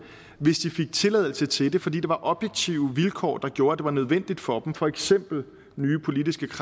hvis de fik tilladelse til det fordi der var objektive vilkår der gjorde at det var nødvendigt for dem for eksempel nye politiske